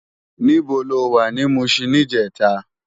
Nibó ló wá ni Mushin nijètá?